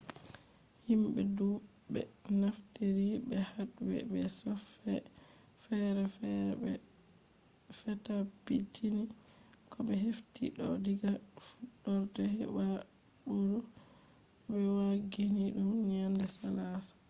himɓe ɗuɓɓe naftiri be hadwee be softwee feere feere ɓe fetabbitini ko ɓe hefti ɗo diga fuɗɗorde febuari bo ɓe wangini ɗum nyannde salaasa